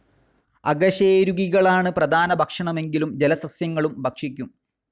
അകശേരുകികളാണ് പ്രധാന ഭക്ഷണമെങ്കിലും ജലസസ്യങ്ങളും ഭക്ഷിക്കും.